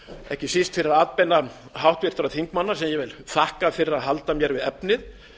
ekki síst fyrir atbeina háttvirtra þingmanna sem ég þakka fyrir að halda mér við efnið